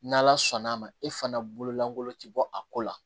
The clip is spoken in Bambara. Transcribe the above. N'ala sɔnn'a ma e fana bolo lankolon ti bɔ a ko la